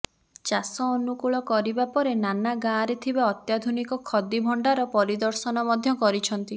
ଚାଷ ଅନୁକୂଳ କରିବା ପରେ ନାନା ଗାଁରେ ଥିବା ଅତ୍ୟାଧୁନିକ ଖଦି ଭଣ୍ଡାର ପରିଦର୍ଶନ ମଧ୍ୟ କରିଛନ୍ତି